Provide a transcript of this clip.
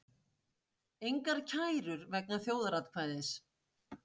Engar kærur vegna þjóðaratkvæðis